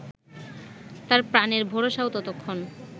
তার প্রাণের ভরসাও ততক্ষণ